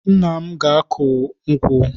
Nna m ga-akụ nkwụ.